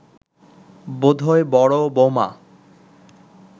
বোধ হয় বড় বৌমা